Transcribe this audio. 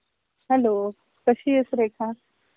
Hello. कशी आहेस रेखा?